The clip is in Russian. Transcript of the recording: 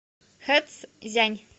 хэцзянь